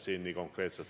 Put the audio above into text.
See oli hea õppetund.